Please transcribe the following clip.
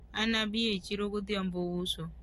anabi e chiro godhiambo uso